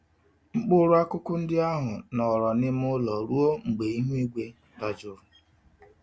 Mkpụrụ-akụkụ ndị ahụ nọrọ n'ime ụlọ ruo mgbe ihu igwe dajụrụ.